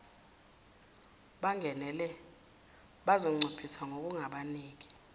abangenele bazoncipha ngokungabaniki